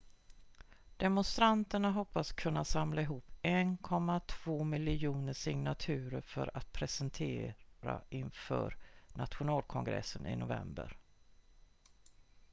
demonstranterna hoppas kunna samla ihop 1,2 miljoner signaturer för att presentera inför nationalkongressen i november